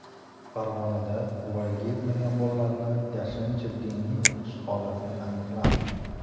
Farg‘onada voyaga yetmagan bolalarni yashirincha diniy o‘qitish holati aniqlandi.